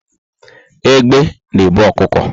Egbe na ebu ọkụkọ